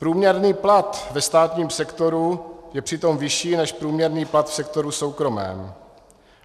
Průměrný plat ve státním sektoru je přitom vyšší než průměrný plat v sektoru soukromém.